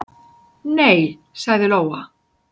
"""Nei, sagði Lóa."""